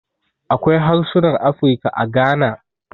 Akwai harsunan Afirka a Gana.